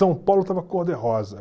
São Paulo estava cor-de-rosa.